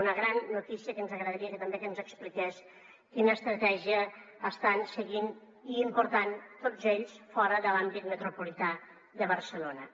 una gran notícia que ens agradaria també que ens expliqués quina estratègia estan seguint i important tots ells fora de l’àmbit metropolità de barcelona